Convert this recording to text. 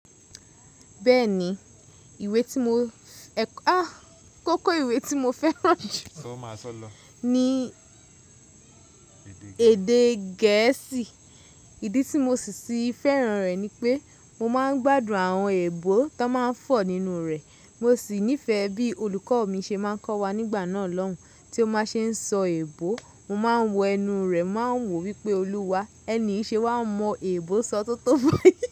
Bẹ́ẹ̀ni, ìwé tí mo, àh! Kókó ìwé tí mo fẹ́ràn jù ní èdè gẹ̀ẹ́sì. Ìdí tí mo sì fẹ́ràn rẹ̀ ni pé mo máa ń gbádùn àwọn èèbó tó máa ń fọ̀ nínú rẹ̀. Mo sì nífẹ̀ẹ́ bí olùkọ́ mi ṣe máa ń kọ́ wa nígbà náà lọ́hùn, tí ó máa ṣe ń sọ èèbó, mo máa ń wo ẹnu rẹ̀, máa ń wò wípé, “Olúwa, ẹni yìí ṣe wá ń mọ èèbó sọ́tótó mọ́.”